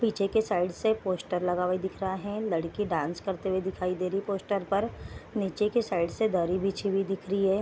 पीछे के साइड से एक पोस्टर लगा हुआ दिख रहा है। लड़की डांस करते हुए दिखा दे रही है पोस्टर पर। नीचे के साइड से दरी बिछी हुई दिख रही है।